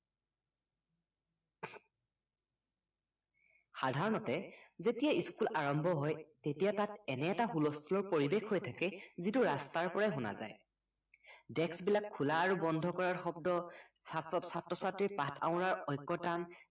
সাধাৰণতে যেতিয়া school আৰম্ভ হয় তেতিয়া তাত এনে এটা হুলস্থুলৰ পৰিৱেশ হৈ থাকে যিটো ৰাস্তাৰ পৰাই শুনা যায় desk বিলাক খোলা আৰু বন্ধ কৰাৰ শব্দ ছাত্ৰ ছাত্ৰ-ছাত্ৰীৰ পাঠ আওৰাৰ ঐকতান